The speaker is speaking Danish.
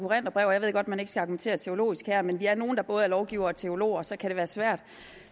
og jeg ved godt at man ikke skal argumentere teologisk her men vi er nogle der både er lovgivere og teologer og så kan det være svært